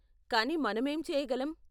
కానీ మనం ఏం చేయగలం?